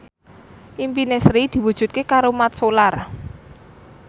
impine Sri diwujudke karo Mat Solar